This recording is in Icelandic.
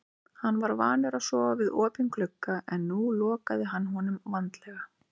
Hann var vanur að sofa við opinn glugga en nú lokaði hann honum vandlega.